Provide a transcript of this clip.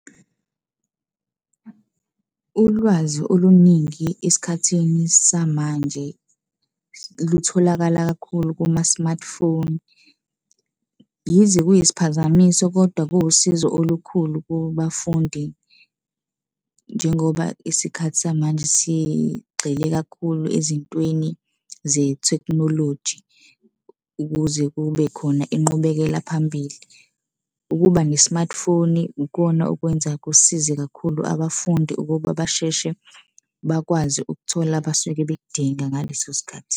Ulwazi oluningi esikhathini samanje lutholakala kakhulu kuma-smartphone. Yize kuyisiphazamiso kodwa kuwusizo olukhulu kubafundi njengoba isikhathi samanje sigxile kakhulu ezintweni ze-technology ukuze kube khona inqubekela phambili. Ukuba ne-smartphone ukona okwenza kusize kakhulu abafundi ukuba basheshe bakwazi ukuthola abasuke bekudinga ngaleso sikhathi.